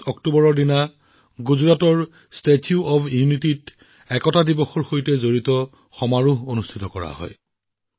আমি জানো যে প্ৰতি বছৰে ৩১ অক্টোবৰত ঐক্য দিৱসৰ সৈতে জড়িত মূল অনুষ্ঠানটো গুজৰাটৰ ষ্টেছ্যু অফ ইউনিটীত অনুষ্ঠিত হয়